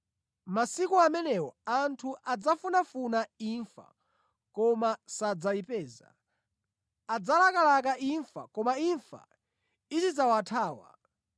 Masiku amenewo anthu adzafunafuna imfa koma sadzayipeza. Adzalakalaka kufa koma imfa izidzawathawa.